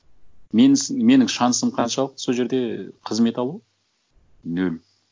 менің шансым қаншалық сол жерде қызмет алу нөл